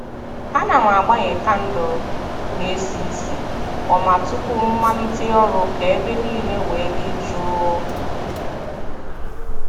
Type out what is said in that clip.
A na m agbanye kandụl na - esi isi ọma tupu m malite ọrụ ka ebe niile wee dị jụụ